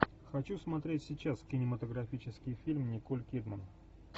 хочу смотреть сейчас кинематографический фильм николь кидман